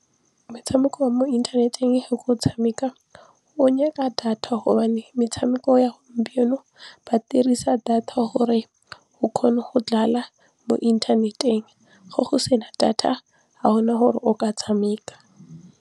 Metshameko ya mo inthaneteng ga ke o tshameka o nyaka data gobane metshameko ya gompieno ba dirisa data gore o kgone go mo inthaneteng ge go sena data ga go na gore o ka tshameka.